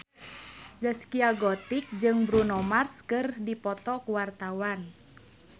Zaskia Gotik jeung Bruno Mars keur dipoto ku wartawan